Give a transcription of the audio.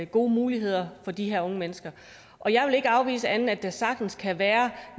gode muligheder for de her unge mennesker og jeg vil ikke afvise at der sagtens kan være